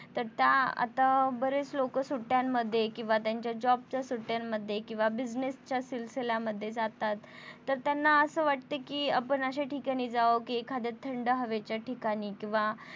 तर त्या आता बरेच लोक सुट्यांमध्ये किंवा त्यांच्या Job च्या सुट्यांमध्ये किंवा Business च्या सिलसिल्या मध्ये जातात तर त्यांना असं वाटत कि आपण अश्या ठिकाणी जावं कि एखाद्या थंड हवेच्या ठिकाणी किंवा